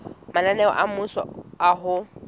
mananeo a mmuso a ho